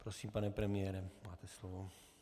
Prosím, pane premiére, máte slovo.